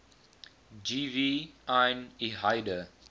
gv yn lhaihder